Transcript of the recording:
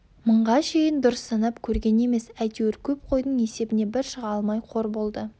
мыңға шейін дұрыс санап көрген емес әйтеуір көп қойдың есебіне бір шыға алмай қор болды